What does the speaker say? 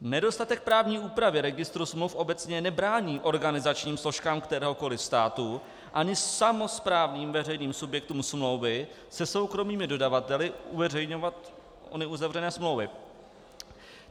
Nedostatek právní úpravy registru smluv obecně nebrání organizačním složkám kteréhokoliv státu ani samosprávným veřejným subjektům smlouvy se soukromými dodavateli uveřejňovat ony uzavřené smlouvy.